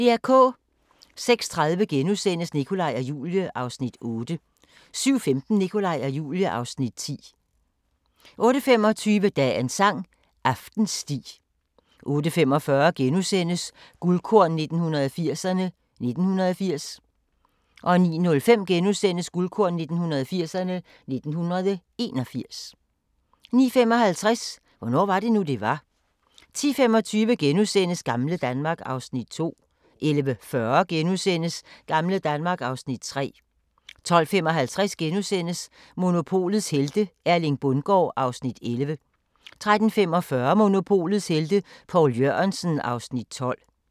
06:30: Nikolaj og Julie (Afs. 8)* 07:15: Nikolaj og Julie (Afs. 9) 08:25: Dagens sang: Aftensti 08:45: Guldkorn 1980'erne: 1980 * 09:05: Guldkorn 1980'erne: 1981 * 09:55: Hvornår var det nu, det var? 10:25: Gamle Danmark (Afs. 2)* 11:40: Gamle Danmark (Afs. 3)* 12:55: Monopolets helte - Erling Bundgaard (Afs. 11)* 13:45: Monopolets Helte – Poul Jørgensen (Afs. 12)